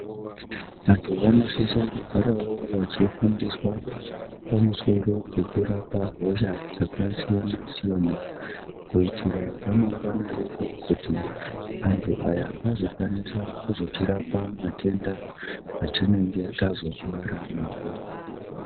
Vantu vanosisa kugarawo vachifundiswa pamusoro pekurapa hosha dzakasiyana siyana kuitira ramangwana redu kuti antu aya anozokwanisa kutirapa matenda atinenge tazorwara nawo.